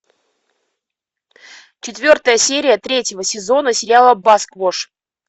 четвертая серия третьего сезона сериала басквош